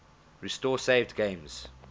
restore saved games